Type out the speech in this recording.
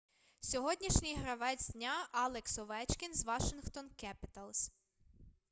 сьогоднішній гравець дня алекс овечкін з вашингтон кепіталс